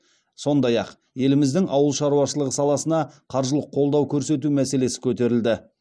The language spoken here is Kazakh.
сондай ақ еліміздің ауыл шаруашылығы саласына қаржылық қолдау көрсету мәселесі көтерілді